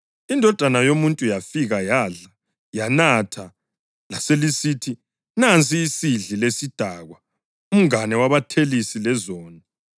INdodana yoMuntu yafika yadla, yanatha, laselisithi, ‘Nansi isidli lesidakwa, umngane wabathelisi lezoni.’